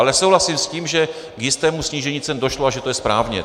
Ale souhlasím s tím, že k jistému snížení cen došlo a že to je správně.